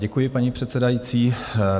Děkuji, paní předsedající.